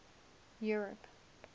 europe